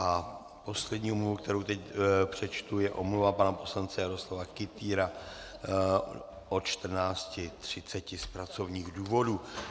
A poslední omluva, kterou teď přečtu, je omluva pana poslance Jaroslava Kytýra od 14.30 z pracovních důvodů.